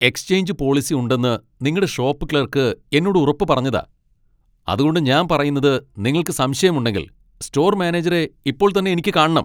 Exchange policy ഉണ്ടെന്ന് നിങ്ങടെ shop clerk എന്നോട് ഉറപ്പ് പറഞ്ഞതാ , അതുകൊണ്ട് ഞാൻ പറയുന്നത് നിങ്ങൾക്ക് സംശയമുണ്ടെങ്കിൽ, സ്റ്റോർ മാനേജരെ ഇപ്പോൾ തന്നെ എനിക്ക് കാണണം.